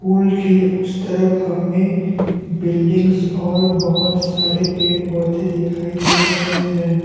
पुल के उस तरफ हमें बिल्डिंग्स और बहुत सारे पेड़ पौधे दिखाई दे रहे हैं।